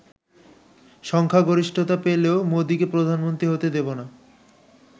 সংখ্যাগরিষ্ঠতা পেলেও মোদিকে প্রধানমন্ত্রী হতে দেব না।